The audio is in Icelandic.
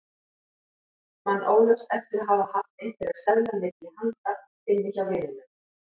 Man óljóst eftir að hafa haft einhverja seðla milli handa inni hjá vininum.